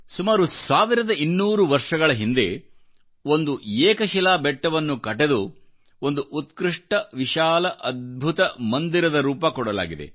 ಸುಮಾರು 1200 ವರ್ಷಗಳ ಹಿಂದೆ ಒಂದು ಏಕಶಿಲಾ ಬೆಟ್ಟವನ್ನು ಕಟೆದು ಒಂದು ಉತ್ಕೃಷ್ಟ ವಿಶಾಲ ಮತ್ತು ಅದ್ಭುತಮಂದಿರದ ದೇವಸ್ಥಾನದ ರೂಪ ಕೊಡಲಾಗಿದೆ